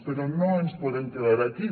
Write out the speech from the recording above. però no ens podem quedar aquí